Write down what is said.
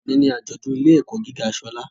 Òní ni àjọ̀dún ilé - ẹ̀kọ́ gíga Ṣọlá